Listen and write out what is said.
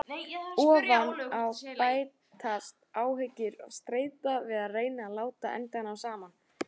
Ofan á bætast áhyggjur og streita við að reyna að láta enda ná saman.